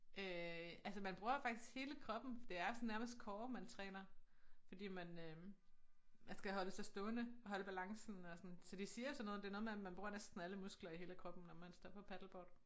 Øh altså man bruger faktisk hele kroppen det er sådan nærmest core man træner fordi man øh man skal holde sig stående og holde balancen og sådan så de siger sådan noget det noget med at man bruger næsten alle muskler i hele kroppen når man står på paddleboard